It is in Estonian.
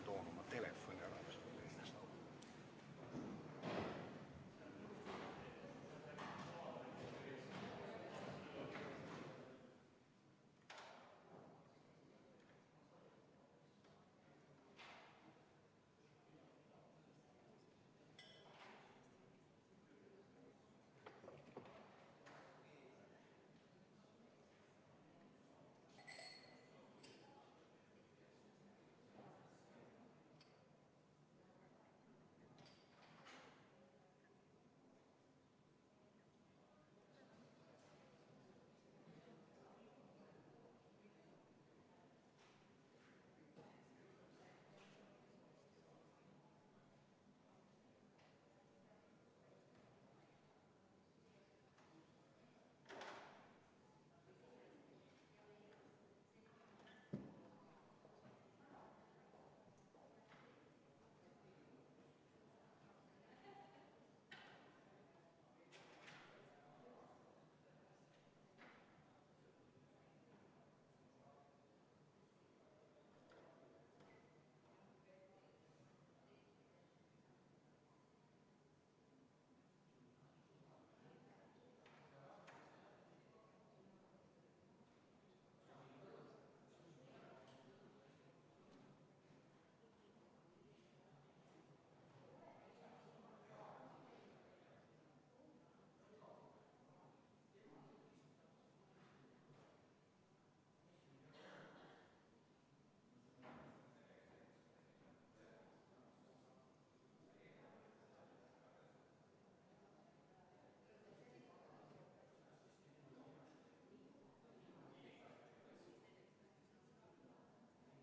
V a h e a e g